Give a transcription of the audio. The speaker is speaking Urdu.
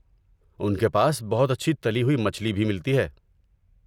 ان کے پاس بہت اچھی تلی ہوئی مچھلی بھی ملتی ہے۔